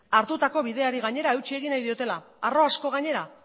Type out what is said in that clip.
hartutako bideari gainera eutsi egin nahi diotela harro asko gainera